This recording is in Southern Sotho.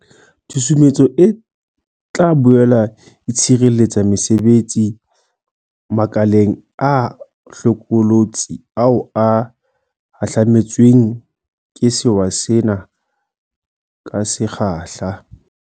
Tshusumetso e tla boele e tshireletsa mesebetsi makeleng a hlokolotsi ao a hahlame tsweng ke sewa sena ka se kgahla.